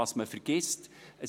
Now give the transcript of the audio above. Was dabei vergessen geht: